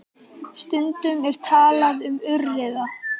Stundum er talað um aurriða.